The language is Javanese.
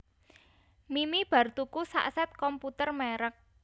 Mimi bar tuku sak set komputer merk